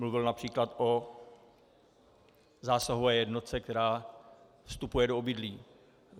Mluvil například o zásahové jednotce, která vstupuje do obydlí.